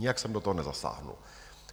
Nijak jsem do toho nezasáhl.